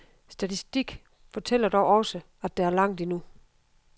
Statistik fortæller dog også, at der er langt endnu.